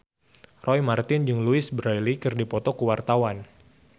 Roy Marten jeung Louise Brealey keur dipoto ku wartawan